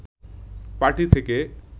party থেকে